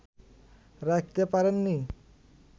রাখতে পারেন নি